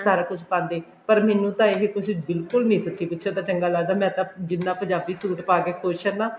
ਸਾਰਾ ਕੁੱਝ ਪਾਂਦੇ ਪਰ ਮੈਨੂੰ ਤਾਂ ਇਹ ਕੁੱਝ ਬਿਲਕੁੱਲ ਨੀ ਸੱਚੀ ਪੁੱਛੋ ਤਾਂ ਚੰਗਾ ਲੱਗਦਾ ਮੈਂ ਤਾਂ ਜਿੰਨਾ ਪੰਜਾਬੀ suit ਪਾਕੇ ਖੁਸ਼ ਹਾਂ ਨਾ